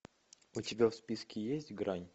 у тебя в списке есть грань